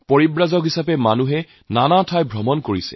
পৰ্যটকৰ দৰে সকলো ওলাই যায়